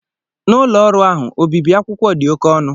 Na Ụlọ ọrụ ahụ, obibi akwụkwọ dị oke ọnụ.